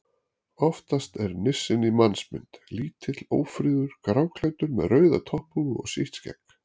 Oftast er nissinn í mannsmynd: Lítill, ófríður, gráklæddur með rauða topphúfu og sítt skegg.